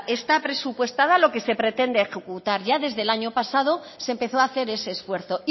está presupuestada lo que se pretende ejecutar ya desde el año pasado se empezó a hacer ese esfuerzo